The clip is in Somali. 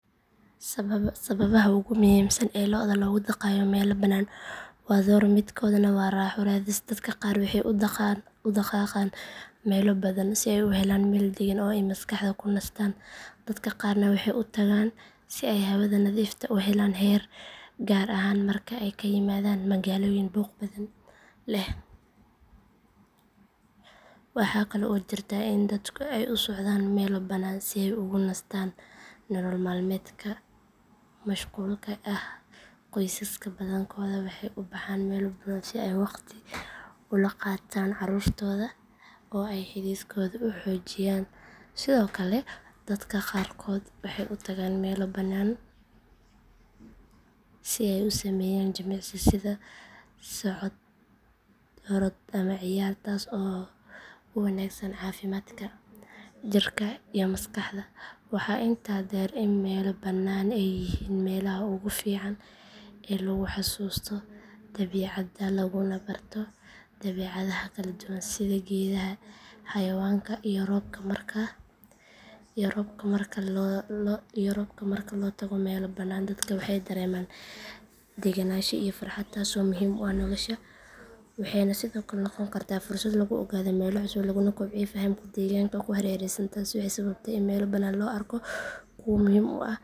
Sababaha ugu muhiimsan ee looda loogu dhaqayo meelo bannaan waa dhowr midkoodna waa raaxo raadis dadka qaar waxay u dhaqaaqaan meelo bannaan si ay u helaan meel deggan oo ay maskaxda ku nastaan dadka qaarna waxay u tagaan si ay hawada nadiifta u helaan gaar ahaan marka ay ka yimaadeen magaalooyin buuq badan leh waxa kale oo jirta in dadku ay u socdaan meelo bannaan si ay ugu nastaan nolol maalmeedka mashquulka ah qoysaska badankood waxay u baxaan meelo bannaan si ay waqti fiican ula qaataan carruurtooda oo ay xidhiidhkooda u xoojiyaan sidoo kale dadka qaarkood waxay u tagaan meelo bannaan si ay u sameeyaan jimicsi sida socod orod ama ciyaar taas oo u wanaagsan caafimaadka jirka iyo maskaxda waxaa intaa dheer in meelo bannaan ay yihiin meelaha ugu fiican ee lagu xasuusto dabiicadda laguna barto dabeecadaha kala duwan sida geedaha xayawaanka iyo roobka marka loo tago meelo bannaan dadka waxay dareemaan degenaansho iyo farxad taasoo muhiim u ah nolosha waxayna sidoo kale noqon kartaa fursad lagu ogaado meelo cusub laguna kobciyo fahamka deegaanka ku hareeraysan taasi waxay sababtay in meelo bannaan .